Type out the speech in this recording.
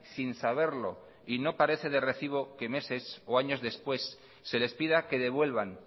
sin saberlo y no parece de recibo que meses o años después se les pida que devuelvan